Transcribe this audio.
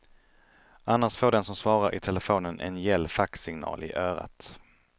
Annars får den som svarar i telefonen en gäll faxsignal i örat.